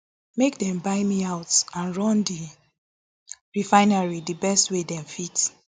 make dem buy me out and run di refinery di best way dem fit